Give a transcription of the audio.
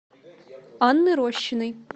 анны рощиной